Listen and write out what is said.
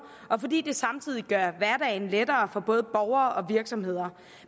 og fordi det samtidig gør hverdagen lettere for både borgere og virksomheder